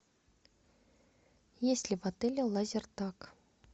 есть ли в отеле лазертаг